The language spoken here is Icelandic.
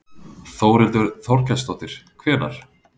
Þórhildur Þorkelsdóttir: Hvenær?